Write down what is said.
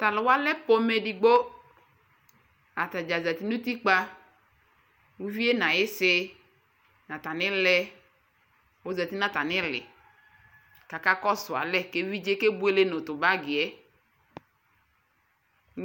Tʋ alʋ wa lɛ pomɛ edigbo Ata dza zati nʋ utikpǝ Uvi yɛ nʋ ayɩsɩ nʋ atamɩlɛ ɔzati nʋ atamɩ ɩɩlɩ kʋ akakɔsʋ alɛ kʋ evidze yɛ kebuele nʋ tʋ bagi yɛ nʋ